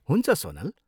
हुन्छ, सोनल।